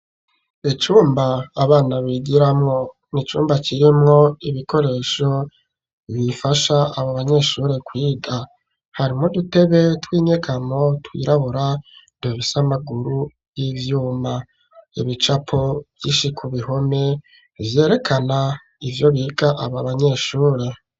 Icumba abana bigiramo ni icumba kirimwo ibikoresho bifasha abo banyeshure kwiga. Harimwo udutebe tw'inyegamo twirabura, dufise amaguru y'ivyuma. Ibicapo vyinshi ku bihome vyerekana ivyo biga aba banyeshure.